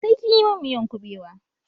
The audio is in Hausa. Sai kinyi mun miyan kubewa!